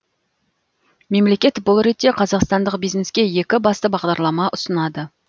мемлекет бұл ретте қазақстандық бизнеске екі басты бағдарлама ұсынады